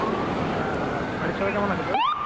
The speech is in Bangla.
হ্যাঁ, ভালো আছি। বাড়ির সবাই কেমন আছে তোর?